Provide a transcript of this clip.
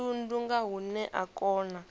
thundu nga hune a kona